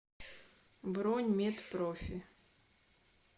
бронь мед профи